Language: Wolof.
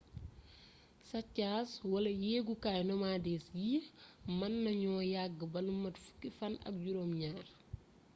saccage wala yeegukaay nomades yii mën nañu yagg ba lu mat fukki fann ak juróom ñaar